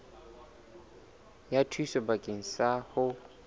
ya thuso bakeng sa ho